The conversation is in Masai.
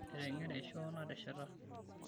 Etengere shoo nasheta.